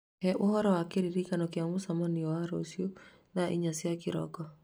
He ũhoro wa kĩririkano kĩa mũcemanio wa rũciũ thaa inya cia kĩroko